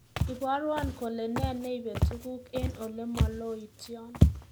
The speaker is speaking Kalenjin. Ibarwon kole ne neipe tuguk eng olemaloityon